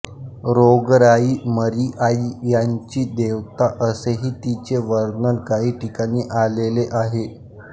रोगराई मरीआई यांची देवता असेही तिचे वर्णन काही ठिकाणी आलेले आहे